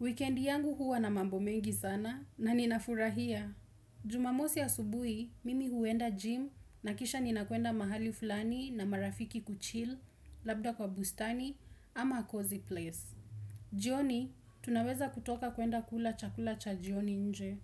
Weekendi yangu huwa na mambo mengi sana na ninafurahia. Jumamosi ya subuhi, mimi huenda gym na kisha ninakuenda mahali fulani na marafiki kuchil, labda kwa bustani ama cozy place. Jioni, tunaweza kutoka kuenda kula chakula cha jioni nje.